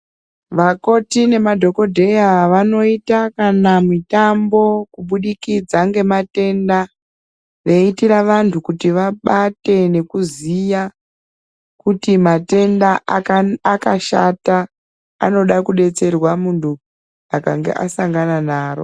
Makoti nemadhokodheya ,vanoita kana mitambo, kubudikidza ngematenda, veiitira vantu kuti vabate nekuziya kuti matenda akana akashata, anoda kudetserwa muntu akange asangana naro.